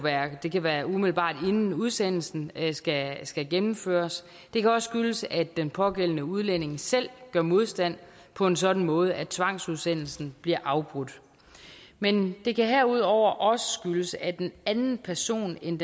det kan være umiddelbart inden udsendelsen skal skal gennemføres det kan også skyldes at den pågældende udlænding selv gør modstand på en sådan måde at tvangsudsendelsen bliver afbrudt men det kan herudover også skyldes at en anden person end